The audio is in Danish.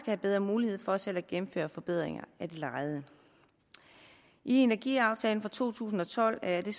have bedre mulighed for selv at gennemføre forbedringer af det lejede i energiaftalen fra to tusind og tolv er det